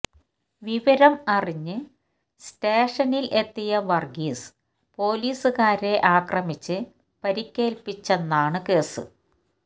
വിവരം അറിഞ്ഞ് സ്റ്റേഷനില് എത്തിയ വര്ഗീസ് പോലീസുകാരെ ആക്രമിച്ച് പരുക്കേല്പ്പിച്ചെന്നാണ് കേസ്